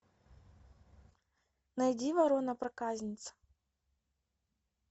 найди ворона проказница